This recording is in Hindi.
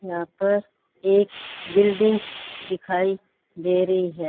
यहां पर एक बिल्डिंग दिखाई दे रही है।